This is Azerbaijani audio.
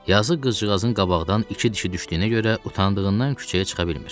Yazıq qızcığazın qabaqdan iki dişi düşdüyünə görə utandığından küçəyə çıxa bilmir.